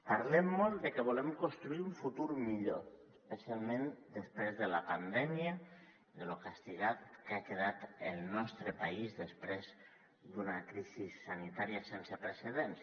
parlem molt de que volem construir un futur millor especialment després de la pandèmia de lo castigat que ha quedat el nostre país després d’una crisi sanitària sense precedents